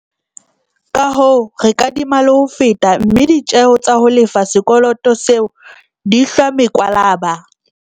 Kahoo, re kadima le ho feta, mme ditjeo tsa ho lefa sekoloto seo di hlwa mekwalaba.